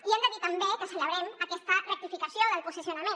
i hem de dir també que celebrem aquesta rectificació del posicionament